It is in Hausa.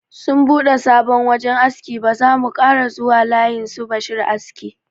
Sun bude sabon wajan aski, ba zamu kara zuwa layin sun bashi aski.